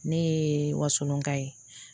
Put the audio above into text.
Ne ye wasɔnka ye